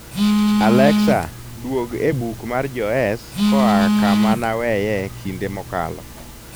alexa duog e buk mar joes koa kama naweye kinde mokalo